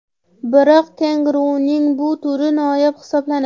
Biroq kenguruning bu turi noyob hisoblanadi.